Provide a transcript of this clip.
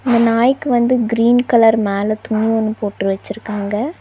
இந்த நாய்க்கு வந்து கிரீன் கலர் மேல துணி ஒன்னு போட்டு வெச்சிருக்காங்க.